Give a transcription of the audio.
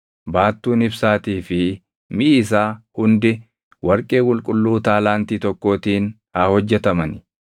Baattuun ibsaatii fi miʼi isaa hundi warqee qulqulluu taalaantii tokkootiin haa hojjetamani.